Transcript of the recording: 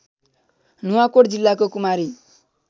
नुवाकोट जिल्लाको कुमारी